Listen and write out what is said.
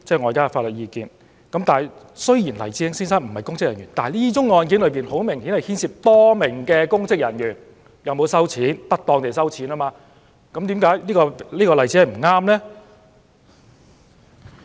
黎智英先生雖然不是公職人員，但這宗案件顯然涉及多名公職人員有否不當地收受款項，為甚麼這是個不適當的例子呢？